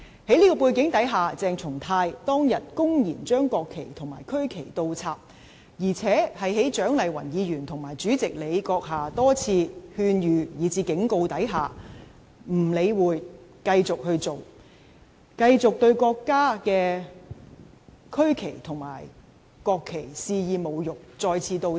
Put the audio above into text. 在這種背景下，鄭松泰當日公然把國旗及區旗倒插，而且對蔣麗芸議員及主席閣下的多次勸諭以至警告，亦不予理會，繼續對國家的區旗及國旗肆意侮辱，再次倒插。